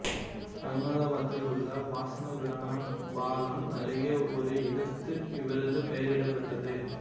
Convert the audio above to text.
அகமதாபாத்தில் உள்ள வாஸ்னாபிரானா பாலம் அருகே ஒரு இடத்துக்கு இவரது பெயரிடபட்டது